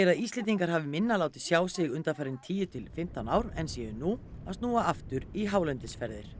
Íslendingar hafi minna látið sjá sig undanfarin tíu til fimmtán ár en séu nú að snúa aftur í hálendisferðir